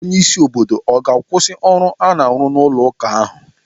Onye isi obodo ọ ga-akwụsị ọrụ a na-arụ n'ụlọ ụka ahụ?